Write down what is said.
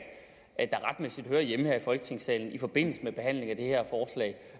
der retmæssigt hører hjemme her i folketingssalen i forbindelse med behandlingen